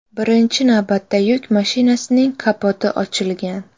Birinchi navbatda yuk mashinasining kapoti ochilgan.